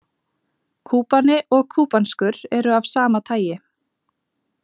Kúbani og kúbanskur eru af sama tagi.